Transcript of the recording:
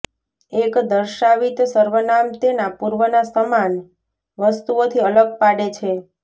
એક દર્શાવિત સર્વનામ તેના પૂર્વના સમાન વસ્તુઓથી અલગ પાડે છે